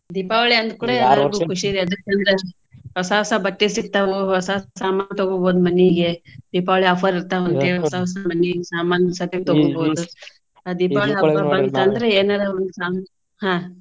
ದೀಪಾವಳಿ ಅಂದ್ ಖುಷಿರಿ ಎದಕ್ಕ ಅಂದ್ರ ಹೊಸಾ ಹೊಸಾ ಬಟ್ಟೆ ಸಿಗ್ತಾವು, ಹೊಸಾ ಹೊಸಾ ಸಾಮಾನ್ ತಗೋಬೋದು ಮನಿಗೆ ದೀಪಾವಳಿ offer ಇರ್ತಾವ ಅಂತ ಹೊಸಾ ಹೊಸಾ ಮನಿ ಸಾಮಾನ್ set ತುಗೋಬೋದು. ಬಂತಂದ್ರೆ ಏನಾರಾ ಒಂದ ಸಾಮ್~ ಆಹ್.